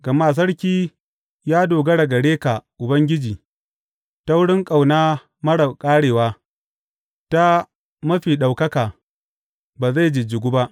Gama sarki ya dogara gare ka Ubangiji ta wurin ƙauna marar ƙarewa ta Mafi Ɗaukaka ba zai jijjigu ba.